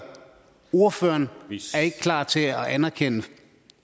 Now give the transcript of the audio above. ordføreren ikke klar til at anerkende